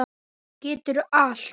Geturðu allt?